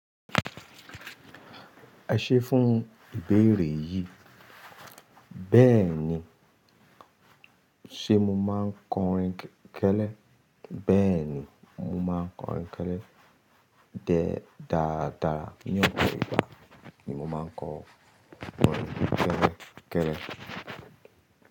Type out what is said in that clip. Ese fùn ibeere yìi. Bẹ́ẹ̀ ni, ṣé mo máa ń kọrin kẹ́lẹ́? Bẹ́ẹ̀ ni, mo máa ń kọrin kẹ́lẹ́ dáadáa. Ní ọ̀pọ̀ ìgbà ni mo máa ń kọ kọrin kẹ́lẹ́ kẹ́lẹ́.